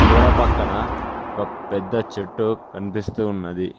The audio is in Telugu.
గోడ పక్కన ఒక పెద్ద చెట్టు కనిపిస్తూ ఉన్నది.